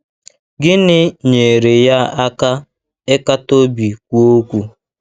Gịnị nyeere ya aka ịkata obi kwuo okwu?